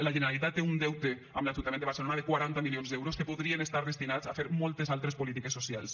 la generalitat té un deute amb l’ajuntament de barcelona de quaranta milions d’euros que podrien estar destinats a fer moltes altres polítiques socials